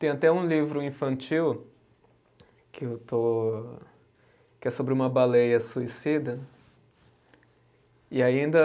Tenho até um livro infantil que eu estou, que é sobre uma baleia suicida. E ainda